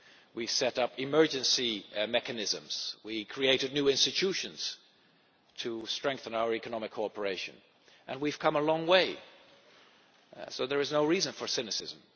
We set up emergency mechanisms, we created new institutions to strengthen our economic cooperation, and we have come a long way, so there is no reason for cynicism.